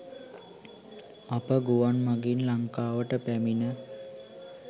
අප ගුවන් මඟින් ලංකාවට පැමිණ